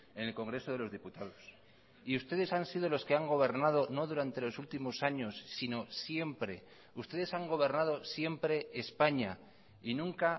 en el congreso de los diputados y ustedes han sido los que han gobernado no durante los últimos años sino siempre ustedes han gobernado siempre españa y nunca